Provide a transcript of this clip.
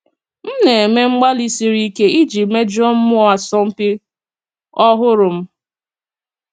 M na-eme mgbalị siri ike iji mejùó mmụọ asọmpi ọhụrụ m.